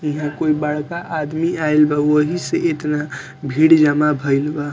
इहा कोई बड़का आदमी आईल बा वही से इतना भीड़ जमा भईल बा।